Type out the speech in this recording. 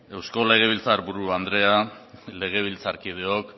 eusko legebiltzar buru anderea legebiltzarkideok